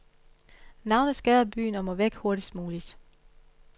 Navnet skader byen og må væk hurtigst muligt.